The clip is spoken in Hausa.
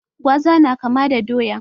Gwaza na kama da doya